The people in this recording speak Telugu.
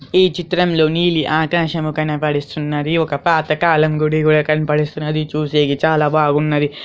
ఈ చిత్రం లో నీలి ఆకాశము కనబడుతున్నది. ఒక పాతకాలం గుడి కూడా కనబడుతున్నది. చూసేకి చాలా బాగున్నది.